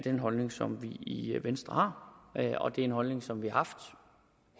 en holdning som vi har i venstre og det er en holdning som vi har haft